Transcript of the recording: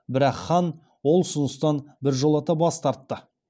бірақ хан ол ұсыныстан біржолата бас тартты